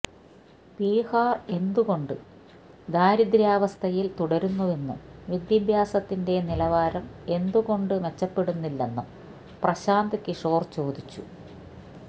ബിഹാർ എന്തുകൊണ്ട് ദാരിദ്ര്യാവസ്ഥയിൽ തുടരുന്നുവെന്നും വിദ്യാഭ്യാസത്തിന്റെ നിലവാരം എന്തുകൊണ്ട് മെച്ചെപ്പെടുന്നില്ലെന്നും പ്രശാന്ത് കിഷോർ ചോദിച്ചു